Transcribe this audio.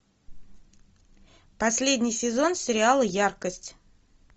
последний сезон сериала яркость